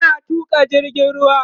yana Tuka jirgin ruwan